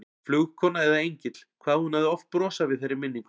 Flugkona eða engill, hvað hún hafði oft brosað við þeirri minningu.